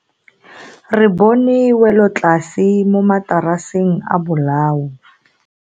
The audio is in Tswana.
Re bone welotlase mo mataraseng a bolao.